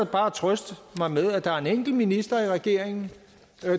bare trøste mig med at der er en enkelt minister i regeringen